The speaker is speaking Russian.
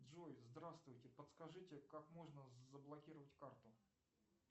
джой здравствуйте подскажите как можно заблокировать карту